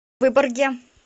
выборге